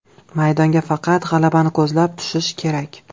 Maydonga faqat g‘alabani ko‘zlab tushish kerak.